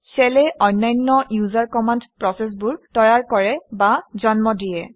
shell এ অন্যান্য user command প্ৰচেচবোৰ তৈয়াৰ কৰে বা জন্ম দিয়ে